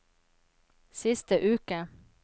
siste uke